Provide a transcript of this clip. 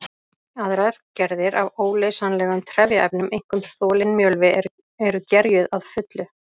Aðrar gerðir af óleysanlegum trefjaefnum, einkum þolinn mjölvi, eru gerjuð að fullu.